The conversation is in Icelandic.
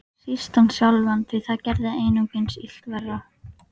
Síst hann sjálfan, því það gerði einungis illt verra.